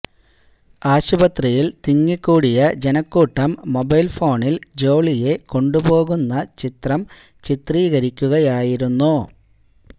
ആശുപത്രിയില് തിങ്ങിക്കൂടിയ ജനക്കൂട്ടം മൊബൈല് ഫോണില് ജോളിയെ കൊണ്ടുപോകുന്ന ദൃശ്യം ചിത്രീകരിക്കുകയായിരുന്നു